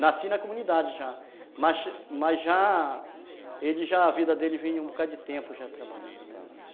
Nasci na comunidade já, mas mas já , ele já, a vida dele vinha um bocadinho de tempo já trabalhando nela, tá.